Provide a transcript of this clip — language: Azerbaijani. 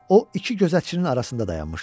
O iki gözətçinin arasında dayanmışdı.